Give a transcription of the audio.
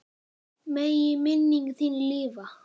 Megi minning þín lifa.